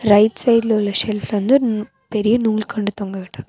Right சைடுல உள்ள செல்ஃப்ல வந்து பெரிய நூல் கண்டு தொங்கவிட்டுருக்க--.